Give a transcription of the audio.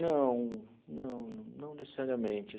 Não, não não necessariamente.